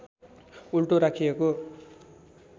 उल्टो राखिएको